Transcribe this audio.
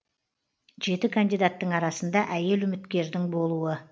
жеті кандидаттың арасында әйел үміткердің болуы